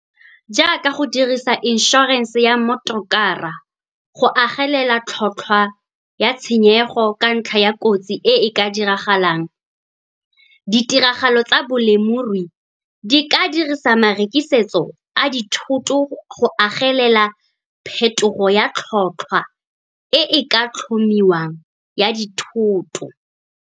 Jaaka go dirisa enšorense ya mmotorkara, go agelela tlhotlhwa ya tshenyego ka ntlha ya kotsi e e ka diragalang, ditiragalo tsa bolemirui di ka dirisa marekisetso a dithoto go agelela phethogo ya tlhotlhwa e e ka tlhomiwang ya dithoto.